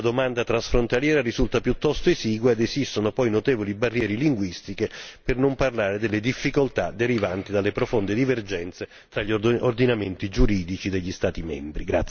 La domanda transfrontaliera risulta piuttosto esigua ed esistono poi notevoli barriere linguistiche, per non parlare delle difficoltà derivanti dalle profonde divergenze fra gli ordinamenti giuridici degli Stati membri.